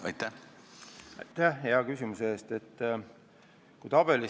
Aitäh hea küsimuse eest!